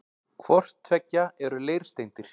Hvort tveggja eru leirsteindir.